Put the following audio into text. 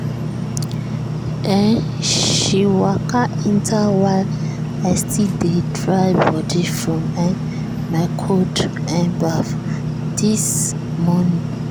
um she waka enter while i still dey dry body from um my cold um baff this morning.